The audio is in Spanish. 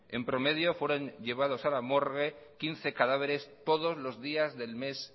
en promedio fueron llevados a la morgue quince cadáveres todos los días del mes